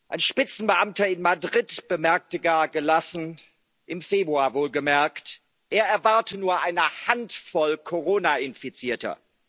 Ein Spitzenbeamter in Madrid bemerkte gar gelassen im Februar wohlgemerkt er erwarte nur eine Handvoll Corona Infizierter.